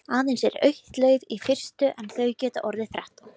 Aðeins er eitt lauf í fyrstu en þau geta orðið þrettán.